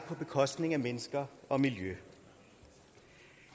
på bekostning af mennesker og miljø